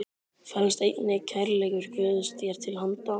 felst einnig kærleikur Guðs þér til handa.